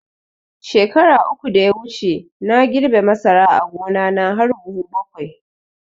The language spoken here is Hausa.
Shekara uku da ya wuce na girbe masara a gona na har buhu bakwai